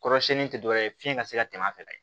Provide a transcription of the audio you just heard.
Kɔrɔsiɲɛnni tɛ dɔwɛrɛ ye fiɲɛ ka se ka tɛmɛ a fɛ